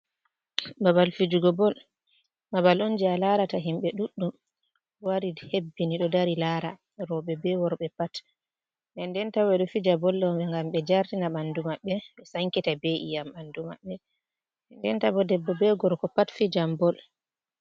Babal fijugo bol, babal on je a larata himbe duɗɗum wari hebbini do dari lara. Roɓe be worɓe pat. Den nden 'ta bo ɓedo fija bol do gam be jartina bandu mabbe ɓe sankita iyam bandu mabbe denden ta bo debbo be gorgo pat ɗo fijam bol.